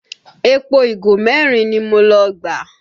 Epo ìgò merin ni mo lọ gbà